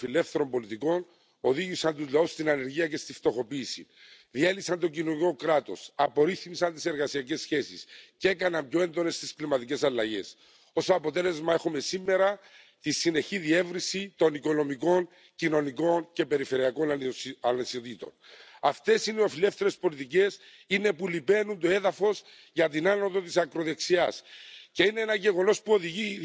Eurooppa voi merkittävästi vaikuttaa globaaliin kehitykseen, jos olemme yhtenäisiä. Tällä hetkellä Euroopan unionin yhtenäisyyttä rapauttaa se, että osa jäsenmaista on huolestuttavasti kääntymässä poispäin Euroopan unionin perusarvoista. Se, että näitä perusarvoja eli kansanvaltaa, ihmisoikeuksia ja oikeusvaltioperiaatetta loukataan, ei kosketa pelkästään kyseistä jäsenmaata ja sen kansalaisia